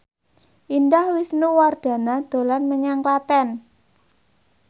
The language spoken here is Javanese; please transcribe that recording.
Indah Wisnuwardana dolan menyang Klaten